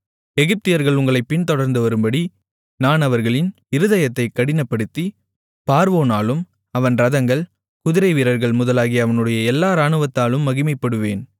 எகிப்தியர்கள் உங்களைப் பின்தொடர்ந்து வரும்படி நான் அவர்களின் இருதயத்தைக் கடினப்படுத்தி பார்வோனாலும் அவன் இரதங்கள் குதிரைவீரர்கள் முதலாகிய அவனுடைய எல்லா இராணுவத்தாலும் மகிமைப்படுவேன்